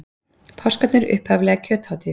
Páskarnir upphaflega kjöthátíð.